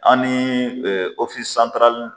An ni